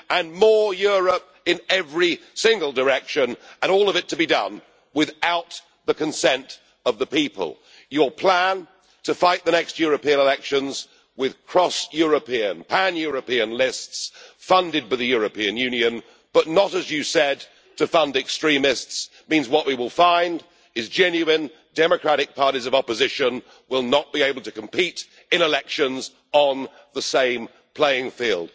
and more Europe in every single direction, and all of it to be done without the consent of the people. Your plan to fight the next European elections with pan European lists, funded by the European Union, but not, as you said, to fund extremists, means that what we will find is that genuine democratic parties of opposition will not be able to compete in elections on the same playing field.